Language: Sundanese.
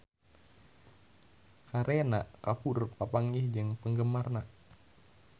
Kareena Kapoor papanggih jeung penggemarna